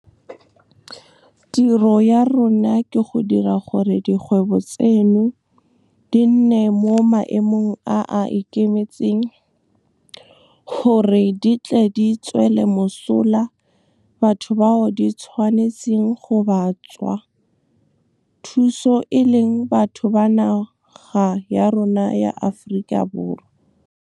Tiro ya rona ke go dira gore dikgwebo tseno di nne mo maemong a a ikemetseng gore di tle di tswele mosola batho bao di tshwanetseng go ba tswa thuso e leng batho ba naga ya rona ya Aforika Borwa. Tiro ya rona ke go dira gore dikgwebo tseno di nne mo maemong a a ikemetseng gore di tle di tswele mosola batho bao di tshwanetseng go ba tswa thuso e leng batho ba naga ya rona ya Aforika Borwa.